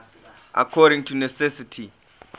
according to necessity